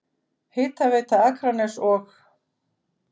Hitaveita Akraness og